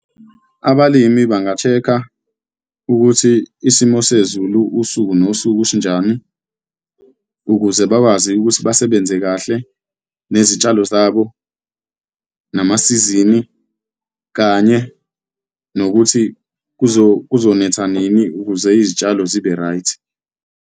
Abalimi banga-check-a ukuthi isimo sezulu, usuku nosuku sinjani, ukuze bakwazi ukuthi basebenze kahle nezitshalo zabo, namasizini, kanye nokuthi kuzonetha nini ukuze izitshalo zibe right.